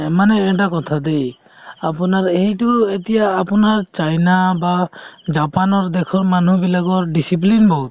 মানে এটা কথা দেই আপোনাৰ এইটো এতিয়া আপোনাৰ চাইনা বা জাপানৰ দেশৰ মানুহবিলাকৰ discipline বহুত